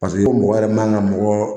Paseke ko mɔgɔ yɛrɛ man ka mɔgɔ